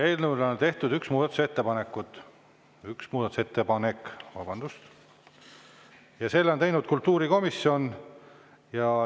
Eelnõu kohta on tehtud üks muudatusettepanek, selle on teinud kultuurikomisjon.